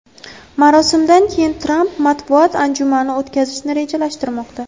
Marosimdan keyin Tramp matbuot anjumani o‘tkazishni rejalashtirmoqda.